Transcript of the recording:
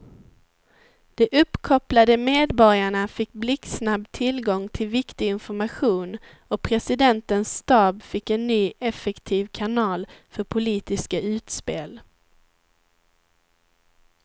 De uppkopplade medborgarna fick blixtsnabb tillgång till viktig information och presidentens stab fick en ny effektiv kanal för politiska utspel.